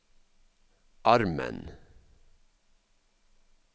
armen